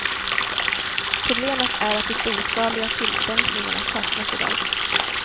Problemet är att de storskaliga tillämpningarna saknas i dag.